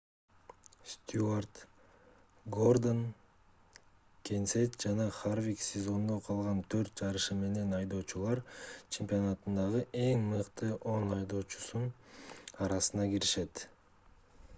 стьюарт гордон кенсет жана харвик сезондо калган төрт жарышы менен айдоочулар чемпионатындагы эң мыкты он айдоочунун арасына киришет